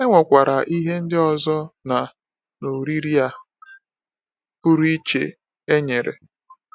E nwekwara ihe ndị ọzọ na na oriri a pụrụ iche e nyere.